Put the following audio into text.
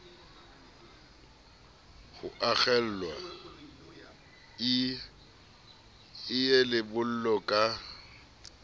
ho akgellwa ie lebollo ka